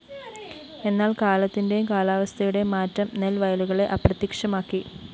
എന്നാല്‍ കാലത്തിന്റെയും കാലാവസ്ഥയുടെയും മാറ്റം നെല്‍ വയലുകളെ അപ്രത്യക്ഷമാക്കി്